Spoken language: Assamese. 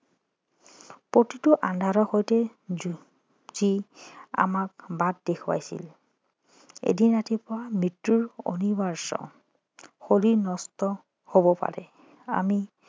প্ৰতিটো আন্ধাৰৰ সৈতে যুঁজ যি আমাক বাট দেখুৱাইছিল এদিন ৰাতিপুৱা মৃত্যু অনিৰ্বায্য শৰীৰ নশ্বৰ হব পাৰে আমি